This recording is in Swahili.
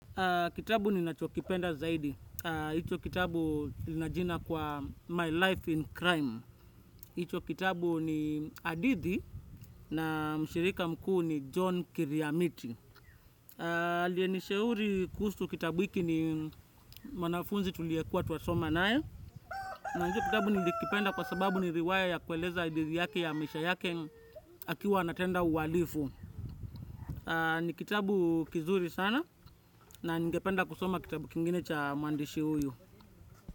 Kitabu ninachokipenda zaidi, hicho kitabu na jina kwa, My Life in Crime, hicho kitabu ni hadithi na mshirika mkuu ni John Kiriamiti. Aliyenishauri kuhusu kitabu hiki ni mwanafunzi tuliyekua twasoma naye, na hicho kitabu nilikipenda kwa sababu ni riwaya ya kueleza hadithi yake ya maisha yake akiwa anatenda ualifu. Ni kitabu kizuri sana na ningependa kusoma kitabu kingine cha muandishi huyu.